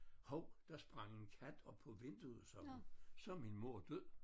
Hov der sprang en kat op på vinduet sørme. Så min mor død